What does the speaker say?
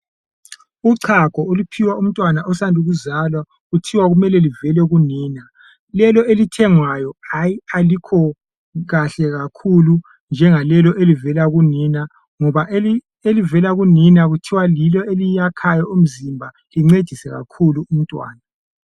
Uchago oluphiwa umntwana osanda kuzalwa kuthiwa kumele luvele kunina lolo oluthengwayo alukho kahle kakhulu njengam lolo oluvela kunina ngobalolo oluvela kunina kuthiwa yilo olwakhayo umzimba luncedise kakhulu umntwana.